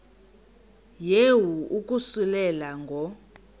yehu ukususela ngo